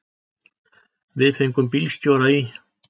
Við fengum bílstjóra í